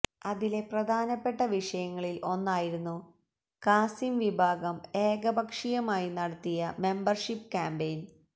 അതിലെ പ്രധാനപ്പെട്ട വിഷയങ്ങളിൽ ഒന്നായിരുന്നു കാസിം വിഭാഗം ഏകപക്ഷീയമായി നടത്തിയ മെമ്പർഷിപ്പ് ക്യാമ്പയിൻ